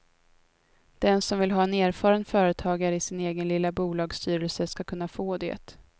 Den som vill ha en erfaren företagare i sin egen lilla bolagsstyrelse ska kunna få det.